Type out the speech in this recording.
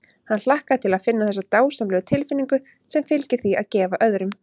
Hann hlakkaði til að finna þessa dásamlegu tilfinnigu sem fylgir því að gefa öðrum.